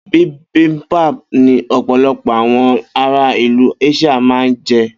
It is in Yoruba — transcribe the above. Bibimpap ni ọ̀pọ̀lọpọ̀ àwọn ara ilu Asia ma n jẹ.